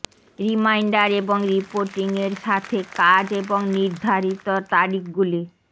reminder এবং reporting এর সাথে কাজ এবং নির্ধারিত তারিখগুলি